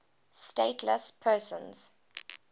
stateless persons